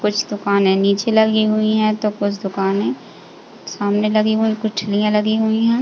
कुछ दुकानें नीचे लगी हुई हैं तो कुछ दुकाने सामने लगी हुई है। कुछ लगी हुई है।